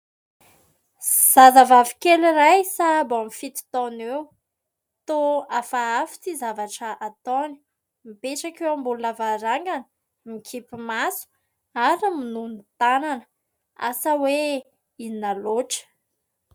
Zazavavy kely iray sahabo amin'ny fito taona eo. Toa hafahafa ity zavatra ataony : mipetraka eo ambony lavarangana, mikipy maso ary minono tanana. Asa hoe inona loatra ?